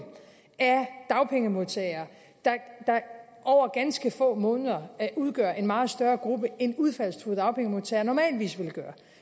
af dagpengemodtagere der over ganske få måneder vil udgøre en meget større gruppe end udfaldstruede dagpengemodtagere normalt ville gøre